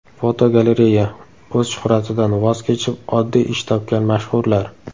Fotogalereya: O‘z shuhratidan voz kechib, oddiy ish topgan mashhurlar.